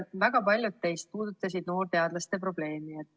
Väga paljud teist puudutasid noorteadlaste probleemi.